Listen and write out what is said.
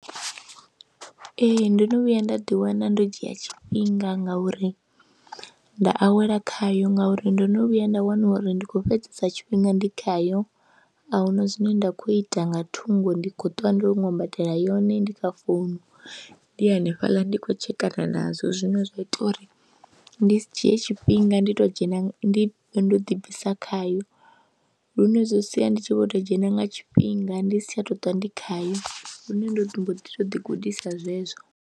Ee, ndo no vhuya nda ḓiwana ndo dzhia tshifhinga ngauri nda awela khayo ngauri ndo no vhuya nda wana uri ndi khou fhedzesa tshifhinga ndi khayo a hu na zwine nda khou ita nga thungo, ndi khou ṱwa ndo ṅwambatela yone, ndi kha founu ndi hanefhaḽa ndi khou tshekana nazwo zwine zwa ita uri ndi dzhie tshifhinga ndi tou dzhena ndi ndo ḓi bvisa khayo lune zwi sia ndi tshi vho tou dzhena nga tshifhinga ndi si tsha tou ṱwa ndi khayo lune ndo mbo ḓi tou ḓi gudisa zwezwo.